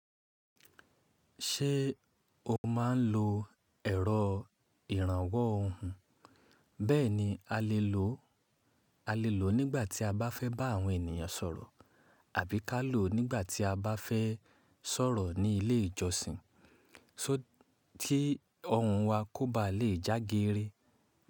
Ṣé o máa n lo ẹ̀rọ ìrànwọ́ ohùn? Bẹ́ẹ̀ni a lè lò ó nígbà tí a bá fẹ́ bá àwọn ènìyàn sọ̀rọ̀, àbí ká lò ó nígbà tí a bá fẹ́ sọ̀rọ̀ ní ilé ìjọsìn tí ohùn wa kò bá lè já geeré.